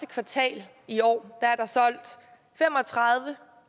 kvartal i år er der solgt fem og tredive